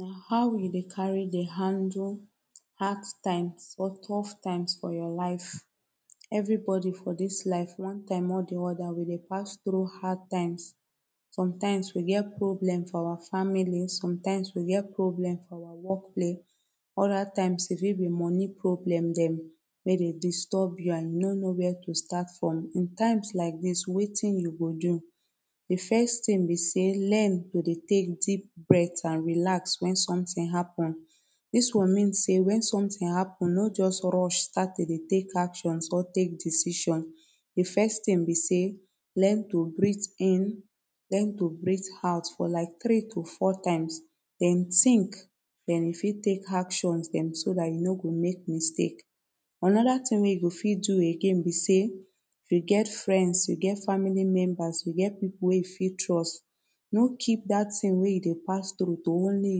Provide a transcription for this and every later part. Na how we dey carry dey handle hard times or tough times for your life. Everybody for dis life one time or de other we dey pass through hard times sometimes we get get problem for our family sometimes we get problem for work place other times e fit be money problem dem wey dey disturb you and you no know where to start from. In times like dis wetin you go do de first tin be say learn to dey tek deep bret and relax when something happen dis one mean say wen something happen no just rush start to dey tek actions or tek decision de first tin be say learn to breathe in learn to breathe out for like three to four times den think den you fit tek actions dem so dat you no go mek mistake anoda tin wey you go fit do again be say you get friends you get family members you get people wey you fit trust no keep dat tin wey you dey pass through to only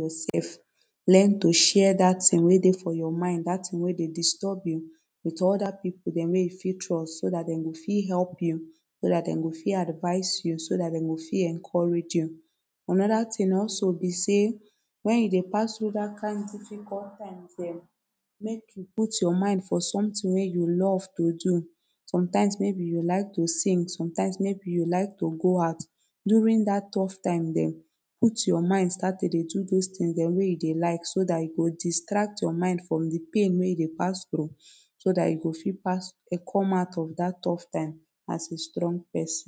yoursef learn to share dat tin wey dey for your mind dat tin wey dey disturb you wit oda people dem wey you fit trust so dat dem go fit help you so dat dem go fit advice you so dat dem go fit encourage you anoda to tin also be say when you dey pass through dat kind difficult times dem make you put your mind for sometin wey you love to do sometimes maybe you like to sing sometimes maybe you like to go out during dat tuff time dem put your mind start to dey do dose things dem wey you dey like so dat e go distract your mind from de pain wey you dey pass through so dat you go fit pass um come out of tough time as a strong person